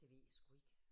Det ved jeg sgu ikke